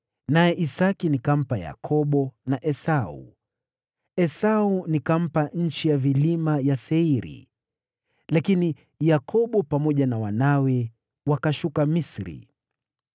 naye Isaki nikampa Yakobo na Esau. Esau nikampa nchi ya vilima ya Seiri, lakini Yakobo pamoja na wanawe wakashuka Misri.